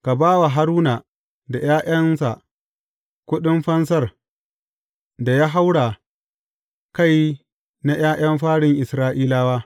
Ka ba wa Haruna da ’ya’yansa kuɗin fansar da ya haura kai na ’ya’yan farin Isra’ilawa.